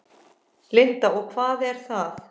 Linda: Og hvað er það?